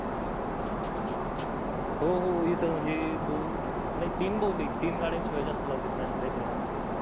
हो हो ईथ म्हणजे दोन नाय तीन बहुतेक तीईन गाड्या शिवाय जास्त लावू देत नाही अस काहीतरी आहे